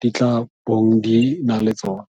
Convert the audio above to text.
di tla bong di na le tsone.